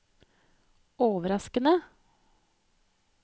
overraskende